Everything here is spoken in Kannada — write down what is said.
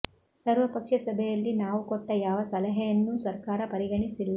ಸರ್ವ ಪಕ್ಷ ಸಭೆಯಲ್ಲಿ ನಾವು ಕೊಟ್ಟ ಯಾವ ಸಲಹೆಯನ್ನೂ ಸರ್ಕಾರ ಪರಿಗಣಿಸಿಲ್ಲ